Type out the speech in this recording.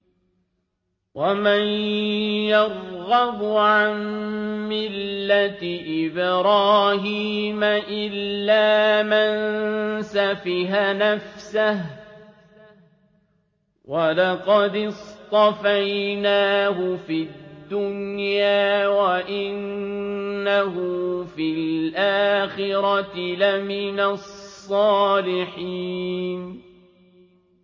وَمَن يَرْغَبُ عَن مِّلَّةِ إِبْرَاهِيمَ إِلَّا مَن سَفِهَ نَفْسَهُ ۚ وَلَقَدِ اصْطَفَيْنَاهُ فِي الدُّنْيَا ۖ وَإِنَّهُ فِي الْآخِرَةِ لَمِنَ الصَّالِحِينَ